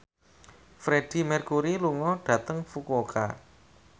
Freedie Mercury lunga dhateng Fukuoka